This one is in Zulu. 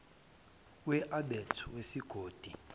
we abet wesigodi